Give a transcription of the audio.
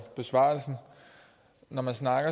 besvarelsen